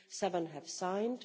seven have signed